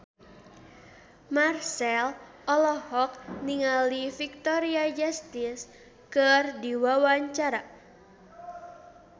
Marchell olohok ningali Victoria Justice keur diwawancara